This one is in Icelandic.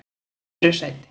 öðru sæti